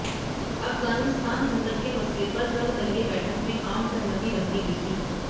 अफगानिस्तान संकट के मसले पर सर्वदलीय बैठक में आम सहमति बनती दिखी